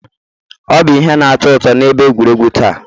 Ọ bụ ihe na-atọ ụtọ na ebe egwuregwu taa.